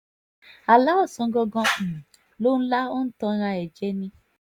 àlà ọ̀sángangan um ló ń lá ó ń tanra um ẹ̀ jẹ ni